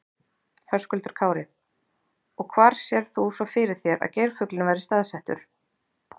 Höskuldur Kári: Og hvar sérð þú svo fyrir þér að geirfuglinn verði staðsettur?